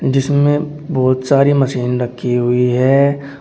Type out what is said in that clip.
इसमें बहोत सारी मशीन रखी हुई है।